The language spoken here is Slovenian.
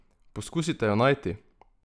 Poskusite jo najti!